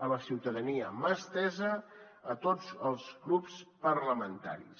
a la ciutadania mà estesa a tots els grups parlamentaris